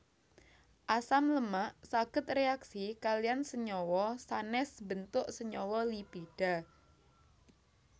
Asam lemak saged réaksi kaliyan senyawa sanès mbentuk senyawa lipida